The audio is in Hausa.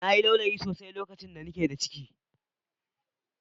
Na yi laulayi sosai lokacin da ni ke da ciki